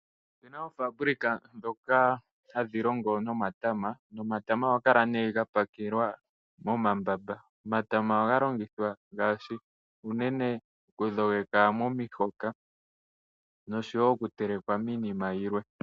Opu na oofaabulika ndhoka hadhi longo nomatama nomatama ohaga kala ga pakelwa momambamba. Omatama ohaga longithwa unene okudhogeka omihoka nosho wo okuteleka iinima yilwe.